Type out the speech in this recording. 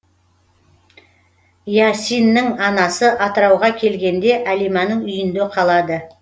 иасиннің анасы атырауға келгенде әлиманың үйінде қалады